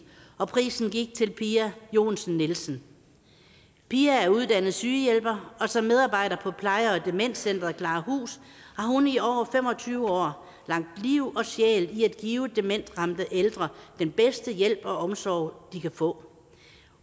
og prisen gik til pia johnsen nielsen pia er uddannet sygehjælper og som medarbejder på pleje og demenscenter klarahus har hun i over fem og tyve år lagt liv og sjæl i at give demensramte ældre den bedste hjælp og omsorg de kan få